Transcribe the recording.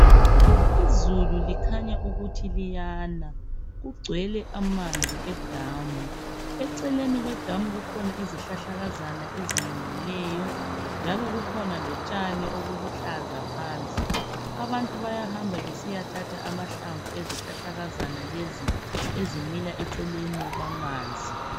Izulu likhanya ukuthi liyana kugcwele amanzi edamu . Eceleni kwedamu kukhona izihlahlakazana ezimilileyo njalo kukhona lotshani ubuluhlaza phansi abantu bayahamba besiyathatha amahlamvu izihlahlakazana lezi ezimila eceleni kwamanzi.